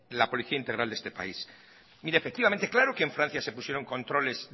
la policía integral de este país mire efectivamente claro que en francia se pusieron controles